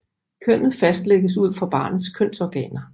Kønnet fastlægges ud fra barnets kønsorganer